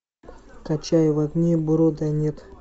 качай в огне брода нет